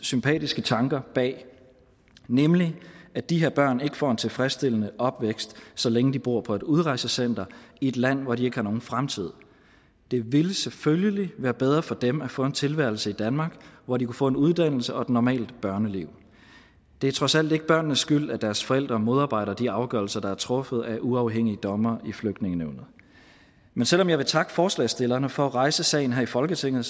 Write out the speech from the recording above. sympatiske tanker bag nemlig at de her børn ikke får en tilfredsstillende opvækst så længe de bor på et udrejsecenter i et land hvor de ikke har nogen fremtid det ville selvfølgelig være bedre for dem at få en tilværelse i danmark hvor de kunne få en uddannelse og et normalt børneliv det er trods alt ikke børnenes skyld at deres forældre modarbejder de afgørelser der er truffet af uafhængige dommere i flygtningenævnet men selv om jeg vil takke forslagsstillerne for at rejse sagen her i folketinget